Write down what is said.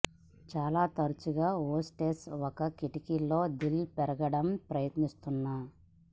చాలా తరచుగా హోస్టెస్ ఒక కిటికీ లో దిల్ పెరగడం ప్రయత్నిస్తున్న